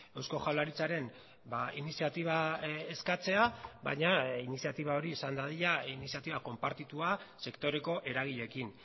eusko jaurlaritzaren iniziatiba eskatzea baina iniziatiba hori izan dadila iniziatiba konpartitua sektoreko eragileekin